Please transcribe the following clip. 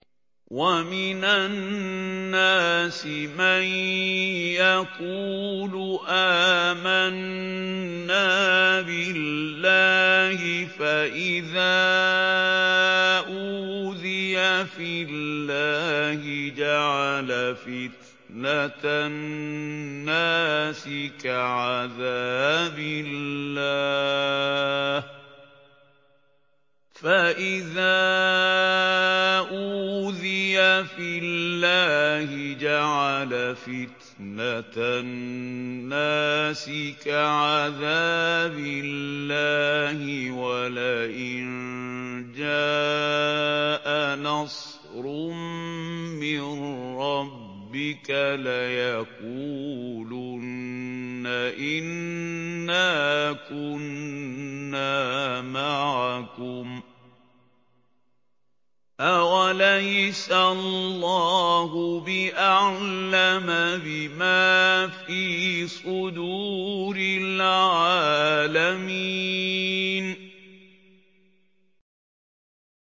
وَمِنَ النَّاسِ مَن يَقُولُ آمَنَّا بِاللَّهِ فَإِذَا أُوذِيَ فِي اللَّهِ جَعَلَ فِتْنَةَ النَّاسِ كَعَذَابِ اللَّهِ وَلَئِن جَاءَ نَصْرٌ مِّن رَّبِّكَ لَيَقُولُنَّ إِنَّا كُنَّا مَعَكُمْ ۚ أَوَلَيْسَ اللَّهُ بِأَعْلَمَ بِمَا فِي صُدُورِ الْعَالَمِينَ